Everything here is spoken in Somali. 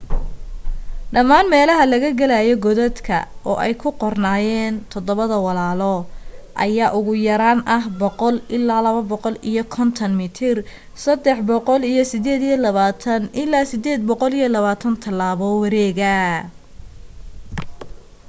dhamaan meelaha laga galaayo godadka oo ay ku qornaayeen todobada walaalo” ayaa ugu yaraan ah 100 ila 250 mitar 328 ilaa 820 talaabo wareega